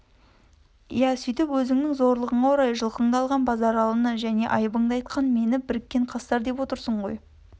иә сөйтіп өзіңнің зорлығыңа орай жылқынды алған базаралыны және айыбынды айтқан мені біріккен қастар деп отырсыңғой